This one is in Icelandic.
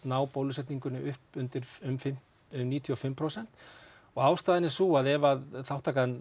ná bólusetningum upp undir níutíu og fimm prósent og ástæðan er sú að ef þátttakan